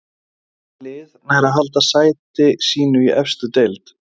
Hvaða lið nær að halda sæti sínu í efstu deild?